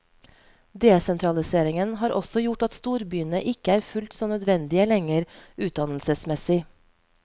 Desentraliseringen har også gjort at storbyene ikke er fullt så nødvendige lenger, utdannelsesmessig.